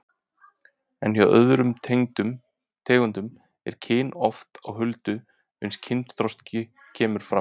En hjá öðrum tegundum er kyn oft á huldu uns kynþroski kemur fram.